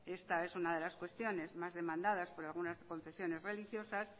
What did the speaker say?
esta es una de las cuestiones más demandadas por algunas confesiones religiosas